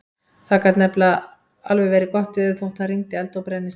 Það gat nefnilega alveg verið gott veður þótt það rigndi eldi og brennisteini.